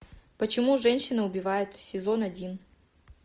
почему женщины убивают сезон один